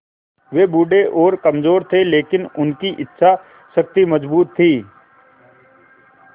वे बूढ़े और कमज़ोर थे लेकिन उनकी इच्छा शक्ति मज़बूत थी